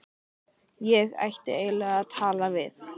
Ég ætti eiginlega að tala við